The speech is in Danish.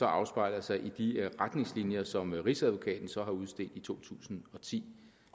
afspejler sig i de retningslinjer som rigsadvokaten så har udstedt i to tusind og ti